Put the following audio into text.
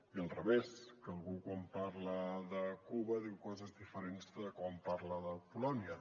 i al revés que algú quan parla de cuba diu coses diferents de quan parla de polònia